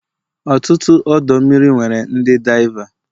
ọtụtụ ọdọ mmiri nwere ndi diava